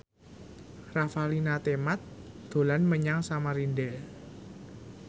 Revalina Temat dolan menyang Samarinda